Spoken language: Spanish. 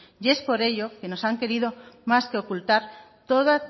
y es por ello que nos han querido más que ocultar todas